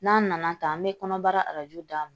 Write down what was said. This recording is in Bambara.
N'an nana ta an bɛ kɔnɔbara arajo d'a ma